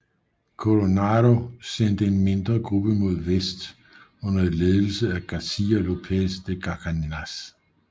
Coronado sendte en mindre gruppe mod vest under ledelse af Garcia López de Cárdenas